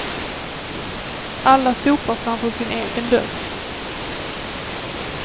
Alla sopar framför sin egen dörr.